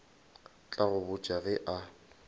tla go botša ge a